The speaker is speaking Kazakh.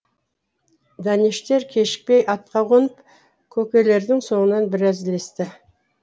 дәнештер кешікпей атқа қонып көкелердің соңынан біраз ілесті